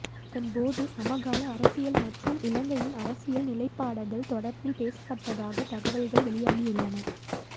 இதன்போது சமகால அரசியல் மற்றும் இலங்கையின் அரசியல் நிலைப்பாடகள் தொடர்பில் பேசப்பட்டதாக தகவல்கள் வெளியாகியுள்ளன